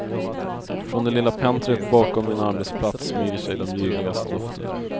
Från det lilla pentryt bakom min arbetsplats smyger sig de ljuvligaste dofter.